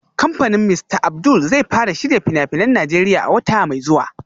Kamfanin Mr Abdul zai fara shirya fina-finan Najeriya a wata mai zuwa